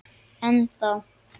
En þá!